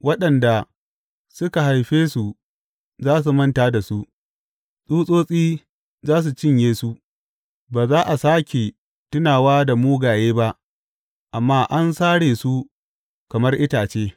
Waɗanda suka haife su za su manta da su, tsutsotsi za su cinye su; ba za a sāke tunawa da mugaye ba amma an sare su kamar itace.